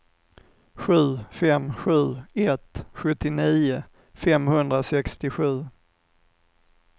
sju fem sju ett sjuttionio femhundrasextiosju